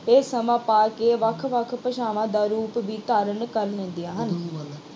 ਇਹ ਸਮਾਂ ਪਾ ਕੇ ਵੱਖ ਵੱਖ ਭਾਸ਼ਾਵਾਂ ਦਾ ਰੂਪ ਵੀ ਧਾਰਨ ਕਰ ਲੈਂਦੀਆਂ ਹਨ।